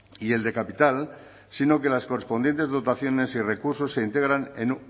y el de capital sino que en las correspondientes dotaciones y recursos se integran en